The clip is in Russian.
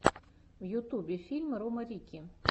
в ютубе фильм рома рикки